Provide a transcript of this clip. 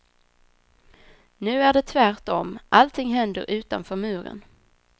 Nu är det tvärtom, allting händer utanför muren.